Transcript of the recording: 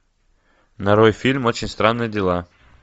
нарой фильм очень странные дела